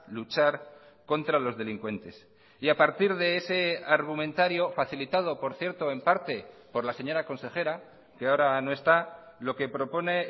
luchar contra los delincuentes y a partir de ese argumentario facilitado por cierto en parte por la señora consejera que ahora no está lo que propone